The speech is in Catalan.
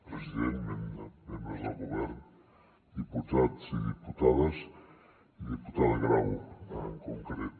president membres del govern diputats i diputades i diputada grau en concret